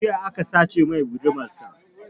Jiya aka sace mai gudumar sa